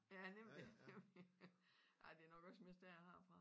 Ja nemlig nemlig ej det nok også mest der jeg har det nok også mest der jeg har det fra